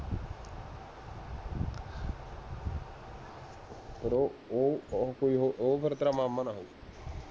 ਉਹ ਉਹ ਫੇਰ ਤੇਰਾ ਮਾਮਾ ਨਾ ਹੋਵੇ